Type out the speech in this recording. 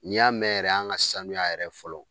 N'i y'a mɛ yɛrɛ an ŋa sanuya yɛrɛ fɔlɔ